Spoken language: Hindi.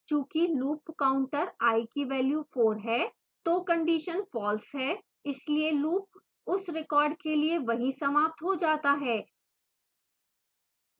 चूँकि loop counter i की value 4 है तो condition false है इसलिए loop उस रिकॉर्ड के लिए वहीं समाप्त हो जाता है